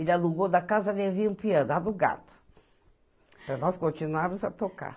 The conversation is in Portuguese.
Ele alugou da casa, dai vinha um piano alugado, para nós continuarmos a tocar.